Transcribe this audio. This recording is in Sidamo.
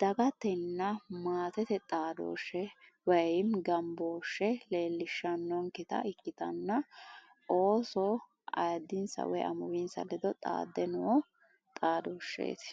dagatenna maatete xaadooshshe woyi gambooshshe leellishshannonketa ikitanna ooso ayiiddinsa woyi amuwinsa ledo xaadde noo xaadooshsheeti